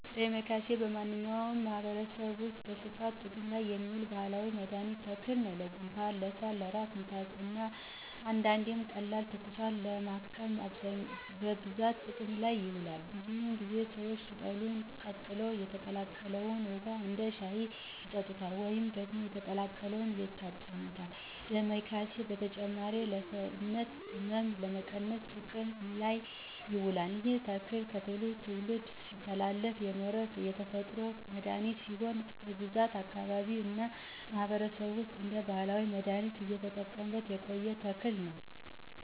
ደማከሴ በእኛ ማህበረሰብ ውስጥ በስፋት ጥቅም ላይ የሚውል ባህላዊ የመድኃኒት ተክል ነው። ለጉንፋን፣ ለሳል፣ ለራስ ምታት እና አንዳንዴም ቀላል ትኩሳትን ለማከም በብዛት ጥቅም ላይ ይውላል። ብዙውን ጊዜ ሰዎች ቅጠሉን ቀቅለው የተቀቀለውን ውሃ እንደ ሻይ ይጠጡታል ወይም ደግሞ የተቀቀለውን ይታጠኑበታል። ዳማኬሴ በተጨማሪም የሰውነት ሕመምን ለመቀነስ ጥቅም ላይ ይውላል። ይህ ተክል ከትውልድ ትውልድ ሲተላለፍ የኖረ የተፈጥሮ መድሀኒት ሲሆን በብዙ አካባቢዎች እና ማህበረሰብ ውስጥ እንደ ባህላዊ መድሃኒት እየተጠቀሙበት የቆየ ተክል ነው።